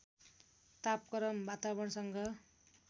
तापक्रम वातावरणसँग